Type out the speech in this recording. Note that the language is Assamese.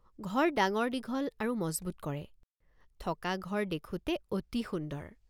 ঘৰ ডাঙৰদীঘল আৰু মজবুত কৰে। ঘৰ ডাঙৰদীঘল আৰু মজবুত কৰে। থকা ঘৰ দেখোঁতে অতি সুন্দৰ।